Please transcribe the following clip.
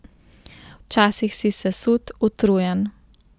Včasih si sesut, utrujen.